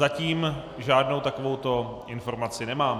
Zatím žádnou takovouto informaci nemám.